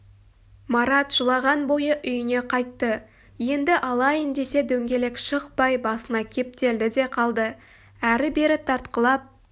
марат жылаған бойы үйіне қайтты енді алайын десе дөңгелек шықпай басына кептелді де қалды әрі-бері тартқылап